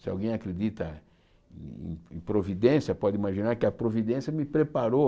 Se alguém acredita em providência, pode imaginar que a providência me preparou.